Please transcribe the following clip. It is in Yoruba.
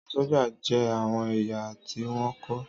Àwọn sójà jẹ́ àwọn èèyàn tí wọ́n kọ́